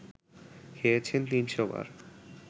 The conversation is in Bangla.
খেয়েছেন ৩০০ বার